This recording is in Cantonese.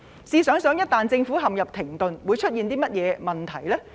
試想一旦政府陷入停頓，會出現甚麼問題？